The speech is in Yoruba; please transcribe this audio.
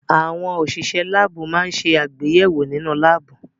Àwọn òṣìṣẹ́ láábù máa ń ṣe àgbéyẹ̀wò nínú láábù.